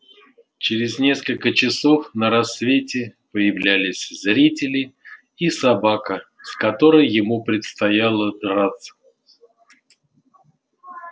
через несколько часов на рассвете появлялись зрители и собака с которой ему предстояло драться